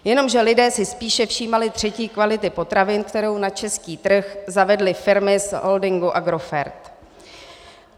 Jenomže lidé si spíše všímali třetí kvality potravin, kterou na český trh zavedly firmy z holdingu Agrofert.